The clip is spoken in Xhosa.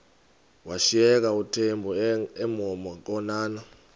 washiyeka uthemba emhokamhokana